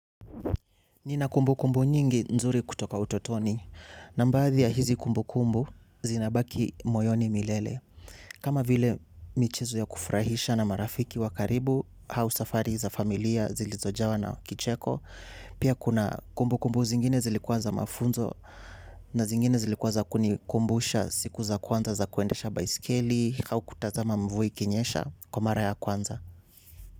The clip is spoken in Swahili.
Nina kumbukumbu nyingi nzuri kutoka utotoni. Na mbadhi ya hizi kumbukumbu zinabaki moyoni milele. Kama vile michezo ya kufrahisha na marafiki wa karibu au safari za familia zilizojawa na kicheko. Pia kuna kumbukumbu zingine zilikuwa za mafunzo na zingine zilikuwa za kunikumbusha siku za kwanza za kuendesha baisikeli au kutazama mvua kinyesha kwa mara ya kwanza.